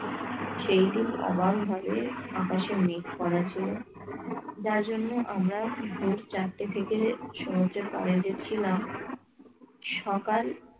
সেইদিন অবাক হবে আকাশে মেঘ করার জন্য যার জন্য আমরা ভোর চারটে থেকে সমুদ্রের পাড়ে দেখছিলাম সকাল